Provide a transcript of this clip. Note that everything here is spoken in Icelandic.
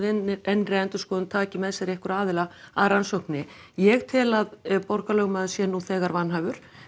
innri endurskoðun taki með sér einhverja aðila að rannsókninni ég tel að borgarlögmaður sé nú þegar vanhæfur